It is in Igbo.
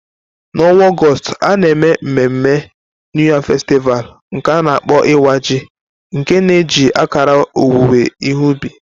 N'ọnwa Ọgọst, a na-eme mmemme New Yam Festival, nke a na-akpọ Iwa Ji, nke na-eji akara owuwe ihe ubi.